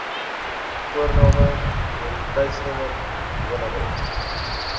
voorname identiteitsnommer woonadres